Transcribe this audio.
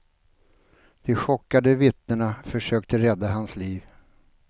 De chockade vittnena försökte rädda hans liv.